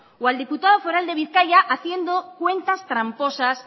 o al diputado foral de bizkaia haciendo cuentas tramposas